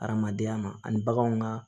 Adamadenya ma ani baganw ka